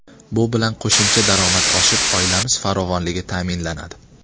Bu bilan qo‘shimcha daromad oshib, oilamiz farovonligi ta’minlanadi.